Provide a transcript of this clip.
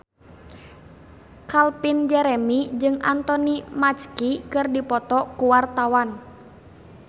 Calvin Jeremy jeung Anthony Mackie keur dipoto ku wartawan